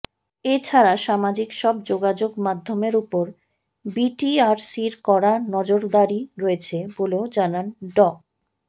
এ ছাড়া সামাজিক সব যোগাযোগমাধ্যমের ওপর বিটিআরসির কড়া নজরদারি রয়েছে বলেও জানান ড